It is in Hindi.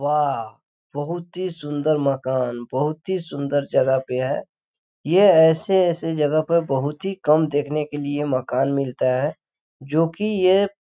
वह बहुत ही सुंदर मकान बहुत ही सुंदर जगह पे है ये ऐसे ऐसे जगह पर बहुत ही कम देखने के लिए मकान मिलता है जोकि ये --